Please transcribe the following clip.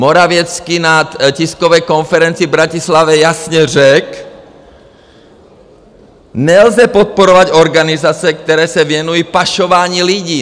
Morawiecki na tiskové konferenci v Bratislavě jasně řekl, nelze podporovat organizace, které se věnují pašování lidí.